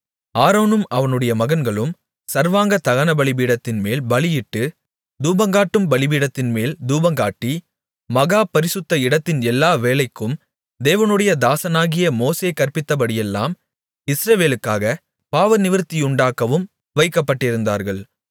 ஆரோனும் அவனுடைய மகன்களும் சர்வாங்க தகனபலிபீடத்தின்மேல் பலியிட்டு தூபங்காட்டும் பீடத்தின்மேல் தூபங்காட்டி மகா பரிசுத்த இடத்தின் எல்லா வேலைக்கும் தேவனுடைய தாசனாகிய மோசே கற்பித்தபடியெல்லாம் இஸ்ரவேலுக்காகப் பாவநிவிர்த்தியுண்டாக்கவும் வைக்கப்பட்டிருந்தார்கள்